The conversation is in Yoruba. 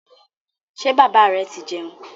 Ṣé bàbá rẹ ti jẹun?